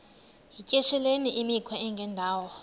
yityesheleni imikhwa engendawo